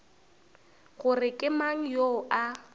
gore ke mang yoo a